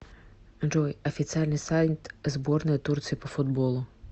джой официальный сайт сборная турции по футболу